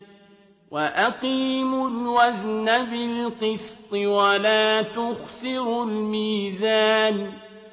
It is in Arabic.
وَأَقِيمُوا الْوَزْنَ بِالْقِسْطِ وَلَا تُخْسِرُوا الْمِيزَانَ